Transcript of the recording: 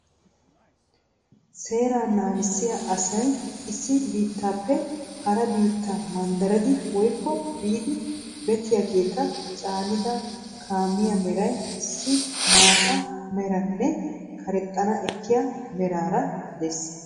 Seerraa naagissiya asay issi biittaappe hara biittaa manddariidd woykko biiddi beettiyageeta caanida kaamiya meray issi maata meraaranne karexxana ekkiya meraara de'ees.